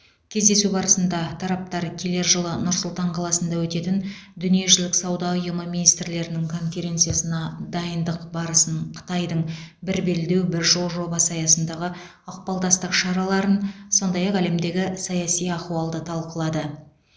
кездесу барысында тараптар келер жылы нұр сұлтан қаласында өтетін дүниежүзілік сауда ұйымы министрлерінің конференциясына дайындық барысын қытайдың бір белдеу бір жол жобасы аясындағы ықпалдастық шараларын сондай ақ әлемдегі саяси ахуалды талқылады